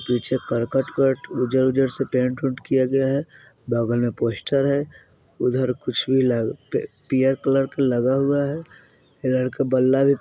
पीछे करकट कट उज्जर-उज्जर से पेंट - वेंट किया गया है बगल में पोस्टर हैं उधर कुछ भी लगा पी-पीयर कलर का लगा हुआ है पीयर के बल्ला --